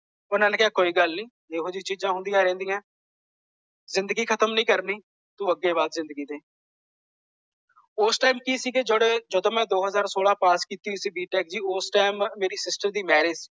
ਓਹਨਾ ਨੇ ਕਿਹਾ ਕੋਈ ਗੱਲ ਨਹੀਂ। ਇਹੋ ਜਿਹੀ ਚੀਜ਼ਾਂ ਹੁੰਦੀਆਂ ਰਹਿੰਦੀਆਂ। ਜਿੰਦਗੀ ਖਤਮ ਨਹੀਂ ਕਰਨੀ। ਤੂੰ ਅੱਗੇ ਵੱਧ ਜਿੰਦਗੀ ਤੇ। ਉਸ ਟਾਈਮ ਕਿ ਸੀ ਕਿ ਜਿਹੜੇ ਜਦੋਂ ਮੈਂ ਦੋ ਹਜਾਰ ਸੋਲਾਂ ਪਾਸ ਕੀਤੀ ਸੀ ਬੀ ਟੇਕ ਦੀ ਉਸ ਟਾਈਮ ਮੇਰੀ ਸਿਸਟਰ ਦੀ ਮੈਰਿਜ